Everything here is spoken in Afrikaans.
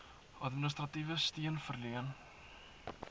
administratiewe steun verleen